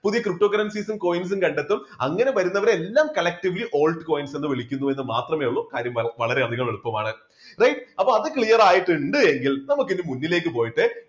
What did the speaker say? പുതിയ ptocurrencies ഉം coins ഉം കണ്ടെത്തും അങ്ങനെ വരുന്നവരെ എല്ലാം collectively altcoins എന്ന് വിളിക്കുന്നു എന്ന് മാത്രമേയുള്ളൂ കാര്യം വളരെയധികം എളുപ്പമാണ്. അത് clear ആയിട്ടുണ്ട് എങ്കിൽ നമുക്കിനി മുന്നിലേക്ക് പോയിട്ട്